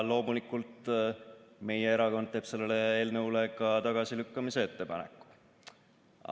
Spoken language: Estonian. Loomulikult, meie erakond teeb ka selle eelnõu tagasilükkamise ettepaneku.